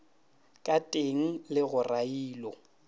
ka teng le go railo